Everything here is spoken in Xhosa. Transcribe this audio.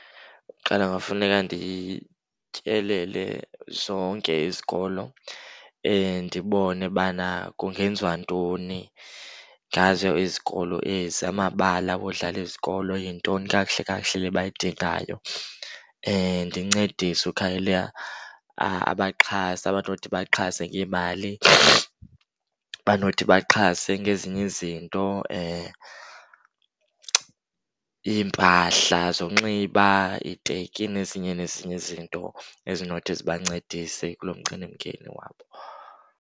Kuqala kungafuneka ndityelele zonke izikolo, ndibone bana kungenziwa ntoni ngazo izikolo ezi. Amabala odlala izikolo yintoni kakuhle kakuhle le bayidingayo. Ndincedise ukhangela abaxhasi abanothi baxhase ngeemali, abanothi baxhase ngezinye izinto, iimpahla zonxiba, iiteki nezinye nezinye izinto ezinothi ziba ncedise kuloo mcelimngeni wabo.